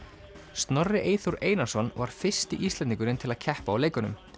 Snorri Eyþór Einarsson var fyrsti Íslendingurinn til að keppa á leikunum